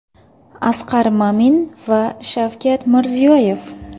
Asqar Mamin va Shavkat Mirziyoyev.